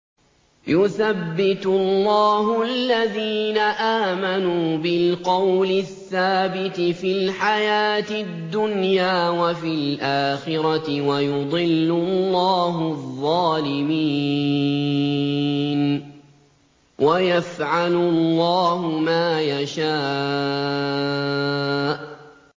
يُثَبِّتُ اللَّهُ الَّذِينَ آمَنُوا بِالْقَوْلِ الثَّابِتِ فِي الْحَيَاةِ الدُّنْيَا وَفِي الْآخِرَةِ ۖ وَيُضِلُّ اللَّهُ الظَّالِمِينَ ۚ وَيَفْعَلُ اللَّهُ مَا يَشَاءُ